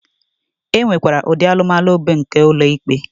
E nwekwara ụdị alụmalụ bụ nke ụlọ ikpe.